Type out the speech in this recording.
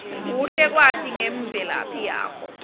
kuhle kwati ngemvelaphi yakho